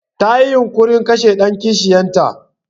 Tayi yunƙurin kashe ɗan kishiyar ta.